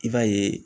I b'a ye